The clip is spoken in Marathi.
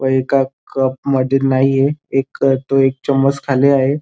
व एका कप मध्ये नाहीये एक तो एक चमच खाली आहे.